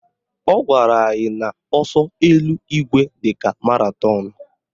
Ọ gwara anyị na ọsọ eluigwe dịka maratọnụ